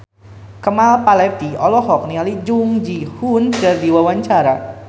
Kemal Palevi olohok ningali Jung Ji Hoon keur diwawancara